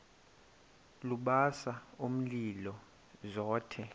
lubasa umlilo zothe